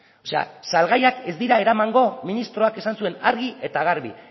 o sea salgaiak ez dira eramango ministroak esan zuen argi eta garbi